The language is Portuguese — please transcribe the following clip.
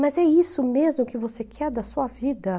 Mas é isso mesmo que você quer da sua vida?